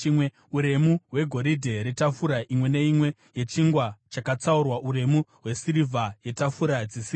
Uremu hwegoridhe retafura imwe neimwe yechingwa chakatsaurwa; uremu hwesirivha yetafura dzesirivha;